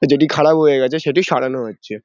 যেটি খারাপ হয়ে গেছে সেটি সরানো হচ্ছে ।